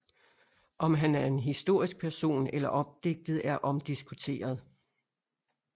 Om han er en historisk person eller opdigtet er omdiskuteret